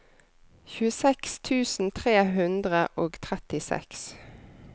tjueseks tusen tre hundre og trettiseks